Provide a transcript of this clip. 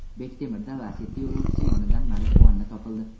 Bektemirda Lacetti yo‘lovchisi yonidan marixuana topildi.